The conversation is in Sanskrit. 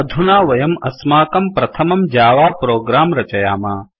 अधुना वयम् अस्माकं प्रथमं जावा प्रोग्राम रचयाम